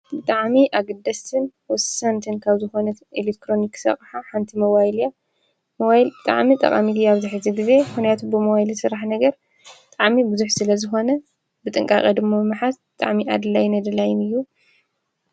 ብጣዕሚ ኣግደስትን ወሳንተን ካብ ዝኾነትን ኤሌሮንክስ ኣቕሓ ሓንቲ መዋይልያ መዋይል ብጣዕሚ ጠቓሚቲ ያብዝሒ ዝ ጊዜ ሕናያቱ ብመዋይል ሥራሕ ነገር ጠዓሚ ብዙኅ ስለ ዝኾነ ብጥንቃቐ ድሞ ምሓዝ ብጣዕሚ ኣድላይን ኣድላይን እዩ።